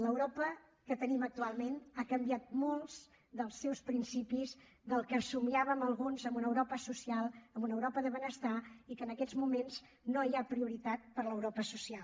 l’europa que tenim actualment ha canviat molts dels seus principis del que somiàvem alguns en una europa social en una europa de benestar i que en aquests moments no hi ha prioritat per a l’europa social